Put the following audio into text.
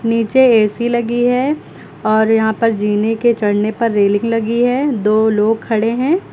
नीचे ए_सी लगी है और यहां पर जीने के चढ़ने पर रेलिंग लगी है दो लोग खड़े हैं।